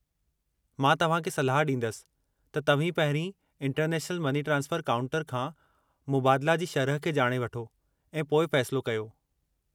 मां तव्हां खे सलाह ॾींदसि त तव्हीं पहिरीं इंटरनेशनल मनी ट्रांसफरु काउंटर खां मुबादला जी शरह खे ॼाणे वठो ऐं पोइ फ़ैसलो कयो।